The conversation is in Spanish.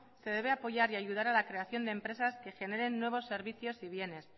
se debe apoyar y ayudar a la creación de empresas que generen nuevos servicios y bienes